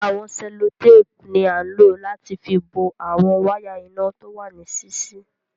Awọn sẹ̀lọ̀tàpù ni ànlọ̀ láti fì bọ̀ awọn wàya iná tówà níṣiṣi